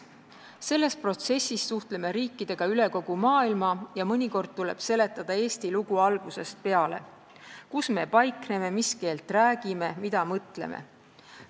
Selles protsessis suhtleme riikidega üle kogu maailma ja mõnikord tuleb seletada Eesti lugu algusest peale: kus me paikneme, mis keelt räägime, mida mõtleme.